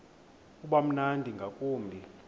uba mnandi ngakumbi